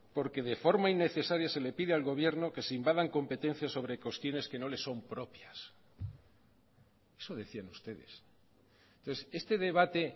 porque de forma innecesaria se le pide al gobierno que se invadan competencias sobre cuestiones que no le son propias eso decían ustedes entonces este debate